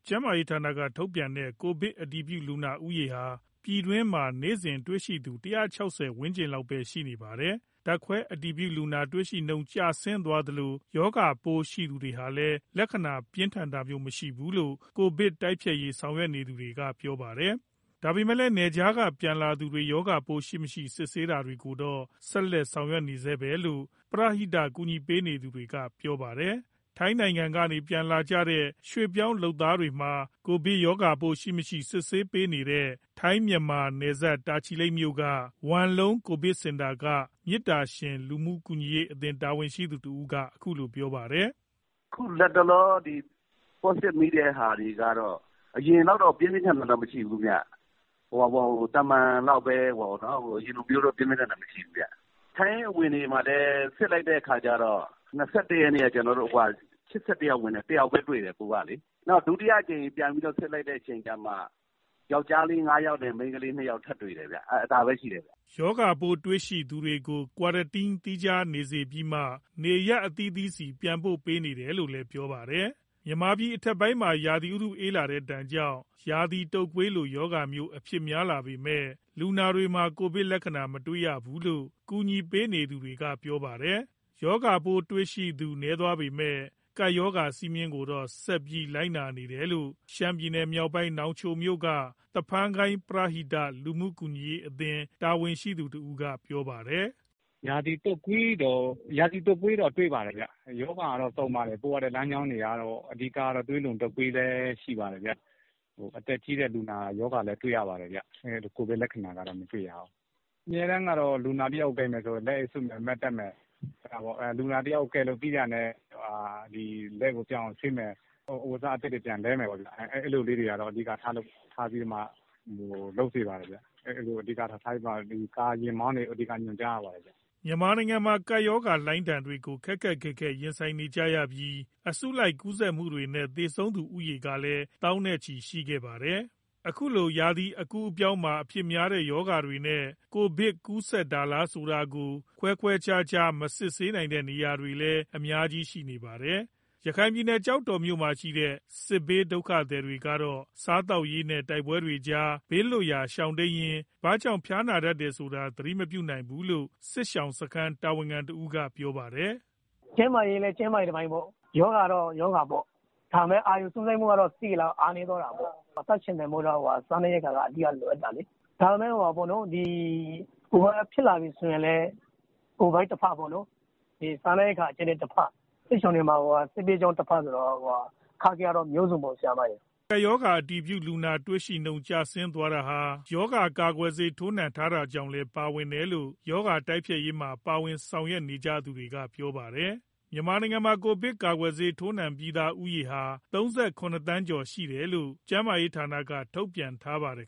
ကျန်းမာရေးဌာနက ထုတ်ပြန်တဲ့ ကိုဗစ်အတည်ပြုလူနာ ဦးရေဟာ ပြည်တွင်းမှာ နေ့စဉ်တွေ့ရှိသူ ၁၆၀ ဝန်းကျင်လောက်မှာပဲ ရှိနေပါတယ်။ ဓာတ်ခွဲအတည်ပြု လူနာတွေ့ရှိနှုန်း ကျဆင်းသွားသလို ရောဂါပိုးရှိသူတွေမှာလည်း လက္ခဏာပြင်းထန်တာမျိုး မရှိဘူးလို့ ကိုဗစ်တိုက်ဖျက်ရေး ဆောင်ရွက်နေသူတွေက ပြောပါတယ်။ ဒါပေမဲ့လည်း နယ်ခြားက ပြန်လာသူတွေ ရောဂါပိုးရှိမရှိ စစ်ဆေးတာတွေကိုတော့ ဆက်လက် ဆောင်ရွက်နေဆဲပဲလို့ ပရဟိတ ကူညီ ပေးနေသူတွေက ပြောပါတယ်။ ထိုင်းနိုင်ငံကနေ ပြန်လာကြတဲ့ ရွှေ့ပြောင်းလုပ်သားတွေမှာ ကိုဗစ်ရောဂါပိုးရှိ မရှိ စစ်ဆေးပေးနေတဲ့ ထိုင်း - မြန်မာ နယ်စပ် တာချီလိတ်မြို့က ဝမ်လုံး ကိုဗစ်စင်တာက မေတ္တာရှင် လူမှုကူညီရေးအသင်း တာဝန်ရှိသူတဦးက အခုလို ပြောပါတယ်။ "အခုလက်တလော Positive မိတဲ့ သူတွေကတော့ အရင်လောက်တော့ ပြင်းပြင်းထန်ထန် မရှိဘူးခင်ဗျ။ ရောဂါလက္ခဏာ သာမန်လောက်ပဲ။ ထိုင်းအဝင်တွေမှာလည်း စစ်လိုက်တဲ့ အခါကျတော့ ၂၁ ရက်နေ့က ၈၁ ယောက်ဝင်တယ်၊ ၁ ယောက်ပဲ ပိုးတွေ့တယ်။ နောက် ဒုတိယအကြိမ် ပြန်ပြီးစစ်လိုက်မှ ယောကျ်ားလေး ၅ ယောက်နဲ့ မိန်းကလေး ၂ ယောက် ထပ်တွေ့တာပဲရှိတယ်။" ရောဂါပိုးတွေ့ရှိ သူတွေကို Quarantine သီးခြားနေစေပြီးမှ နေရပ်အသီးသီးဆီ ပြန်ပို့ပေးနေတယ်လို့လည်း ပြောပါတယ်။ မြန်မာပြည်အထက်ပိုင်းမှာ ရာသီဥတုအေးလာတဲ့ဒဏ်ကြောင့် ရာသီတုပ်ကွေးလို ရောဂါမျိုး အဖြစ်များလာပေမယ့် လူနာတွေမှာ ကိုဗစ်လက္ခဏာ မတွေ့ရဘူးလို့ ကူညီပေးနေသူတွေက ပြောပါတယ်။ ရောဂါပိုးတွေ့ရှိသူ နည်းသွားပေမယ့် ကပ်ရောဂါစည်းမျဉ်းတွေကိုတော့ ဆက်ပြီးလိုက်နာနေတယ်လို့ ရှမ်းပြည်နယ်မြောက်ပိုင်း နောင်ချိုမြို့က သဖန်းကိုင်း ပရဟိတ လူမှုကူညီရေးအသင်း တာဝန်ရှိသူတဦးက ပြောပါတယ်။ "ရာသီတုပ်ကွေးတော့ တွေ့ပါတယ်ဗျ။ ရောဂါတွေကတော့ စုံတယ်။ ပရဟိတလမ်းကြောင်းလည်း များတော့ သွေးလွန်တုပ်ကွေး ဖြစ်ကြတာလည်း တွေ့တယ်။ အသက်ကြီးတဲ့လူနာ ရောဂါလည်း တွေ့ရတယ်ဗျ။ ကိုဗစ်လက္ခဏာတော့ မတွေ့ရဘူး။ ပရဟိတဆောင်ရွက် သူတွေကတော့ လူနာတယောက် ကိုင်မယ်ဆိုရင် လက်အိတ်စွပ်မယ်၊ Mask တပ်မယ်။ လူနာကို ကယ်လို့ပြီးတာနဲ့ လက်ကိုပြောင်အောင် ဆေးမယ်၊ အဝတ်အစား အသစ်တွေ ပြန်လဲမယ်ပေါ့ဗျာ။ အဲဒါတွေတော့ အဓိကလုပ်ဖြစ်တယ်။ ယာဉ်မောင်းတွေကိုတော့ အဓိက ညွှန်ကြားရတယ်ဗျ။" မြန်မာနိုင်ငံမှာ ကပ်ရောဂါလှိုင်းဒဏ်တွေကို ခက်ခက်ခဲခဲ ရင်ဆိုင်ခဲ့ကြရပြီး အစုလိုက်ကူးစက်မှုတွေနဲ့ သေဆုံးသူဦးရေကလည်း သောင်းနဲ့ချီရှိခဲ့တာပါ။ အခုလို ရာသီအကူးအပြောင်းမှာ အဖြစ်များတဲ့ ရောဂါတွေနဲ့ ကိုဗစ် ကူးစက်တာလားဆိုတာကို ခွဲခွဲခြားခြား မစစ်ဆေးနိုင်တဲ့နေရာတွေလည်း အများကြီး ရှိနေပါတယ်။ ရခိုင်ပြည်နယ်၊ ကျောက်တော်မြို့မှာရှိတဲ့ စစ်ဘေးဒုက္ခသည်တွေကတော့ စားသောက်ရေး နဲ့ တိုက်ပွဲတွေကြား ဘေးလွတ်ရာ ရှောင်တိမ်းရင်း ဘာကြောင့် ဖျားနာတယ်ဆိုတာ သတိမပြုနိုင်သေးဘူးလို့ စစ်ရှောင်စခန်း တာဝန်ခံတဦးက ပြောပါတယ်။ "ကျန်းမာရေးလည်း ကျန်းမာရေးတပိုင်းပေါ့။ ရောဂါလည်း ရောဂါပေါ့။ ဒါပေမဲ့ အာရုံစူးစိုက်မှုကတော့ အားနည်းသွားတာပေါ့။ အသက်ရှင်သန်ဖို့တော့ စားနပ်ရိက္ခာက အဓိက လိုအပ်တာလေ။ ဒါပေမဲ့ ဖြစ်လာပြီဆိုရင်လည်း ကိုဗစ်တဖက်၊ စားနပ်ရိက္ခာ အကြပ်အတည်းတဖက်၊ စစ်ဘေးကြောင့်တဖက် ဆိုတော့ စစ်ရှောင်တွေမှာ အခက်အခဲကတော့ မျိုးစုံပေါ့။" ကပ်ရောဂါ အတည်ပြုလူနာ တွေ့ရှိနှုန်း ကျဆင်းသွားတာဟာ ရောဂါကာကွယ်ဆေး ထိုးနှံထားတာကြောင့်လည်း ပါဝင်တယ်လို့ ရောဂါတိုက်ဖျက်ရေးမှာ ပါဝင်ဆောင်ရွက်နေ သူတွေက ပြောပါတယ်။ မြန်မာနိုင်ငံမှာ ကိုဗစ် ၁၉ ရောဂါကာကွယ်ဆေး ထိုးနှံပြီးသူဦးရေဟာ ၃၇ သန်းကျော် ရှိထားတယ်လို့ ကျန်းမာရေးဌာနကတော့ ထုတ်ပြန်ထားပါတယ်